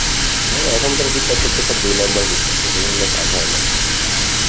হ্যাঁ এখনকার কীটনাশক তো সব দুই number কীটনাশক এগুলো নিয়ে কাজ হয় না,